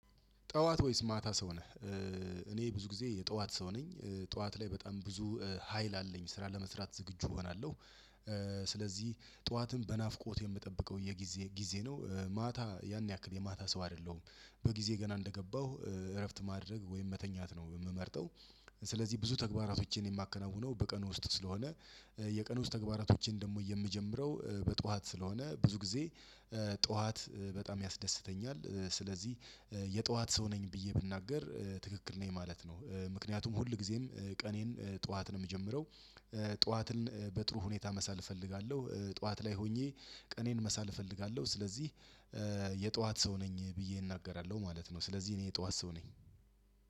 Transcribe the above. ጠዋት ወይስ ማታ ሰው ነህ? እኔ ብዙ ጊዜ የጠዋት ሰው ነኝ ጠዋት ላይ በጣም ብዙ ሀይል አለኝ ስራ ለመስራት ዝግጁ እሆናለሁ። ስለዚህ ጠዋትን በናፍቆት የምጠብቀው የጊዜ ጊዜ ነው። ማታ ያን ያክል የማታ ሰው አይደለሁም። በጊዜ ገና እንደገባሁ እረፍት ማድረግ ወይም መተኛት ነው የምመርጠው። ስለዚህ ብዙ ተግባራቶችን የማከናውነው በቀን ውስጥ ስለሆነ። የቀን ውስጥ ተግባራቶችን ደግሞ የምጀምረው በጧት ስለሆነ ብዙ ጊዜ ጧት በጣም ያስደስተኛል። ስለዚህ የጧት ሰው ነኝ ብዬ ብናገር ትክክል ነኝ ማለት ነው። ምክንያቱም ሁልጊዜም ቀኔን ጧት ነው የምጀምረው። ጧትን በጥሩ ሁኔታ መሳል እፈልጋለሁ ጠዋት ላይ ሆኜ ቀኔን መሳል እፈልጋለሁ። ስለዚህ የጠዋት ሰው ነኝ ብዬ እናገራለሁ ማለት ነው። ስለዚህ እኔ የጠዋት ሰው ነኝ።